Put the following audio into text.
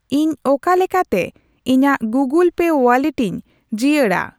ᱤᱧ ᱚᱠᱟ ᱞᱮᱠᱟᱛᱮ ᱤᱧᱟ.ᱜ ᱜᱩᱜᱚᱞ ᱯᱮ ᱣᱟᱞᱞᱮᱴᱤᱧ ᱡᱤᱭᱟᱹᱲᱟ ?